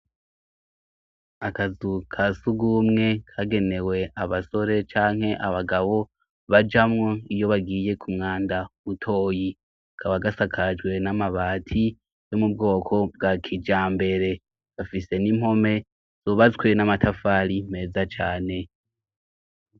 Akazu ka sugumwe kagenewe abasore canke abagabo bajamwo iyo bagiye ku mwanda butoyi kaba gasakajwe n'amabati yo mu bwoko bwa kija mbere gafise n'impome zubazwe n'amatafari meza cane.